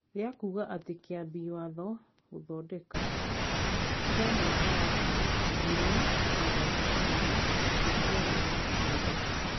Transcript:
rĩa kuuga atĩ Kĩambi Watho (Gũthondeka) kĩa mwaka wa ngiri igĩrĩ na mĩrongo ĩrĩ gĩtiarĩ na kĩene.